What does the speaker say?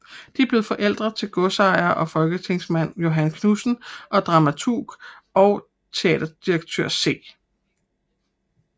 De blev forældre til godsejer og folketingsmand Johan Knudsen og dramaturg og teaterdirektør C